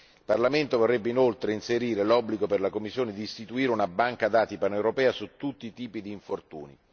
Il Parlamento vorrebbe inoltre inserire l'obbligo per la Commissione di istituire una banca dati paneuropea su tutti i tipi di infortuni.